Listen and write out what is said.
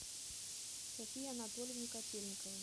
софии анатольевне котельниковой